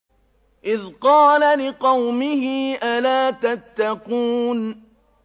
إِذْ قَالَ لِقَوْمِهِ أَلَا تَتَّقُونَ